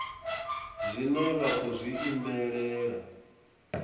zwine vha khou zwi imelela